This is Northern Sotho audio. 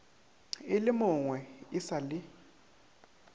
e lemogwe e sa le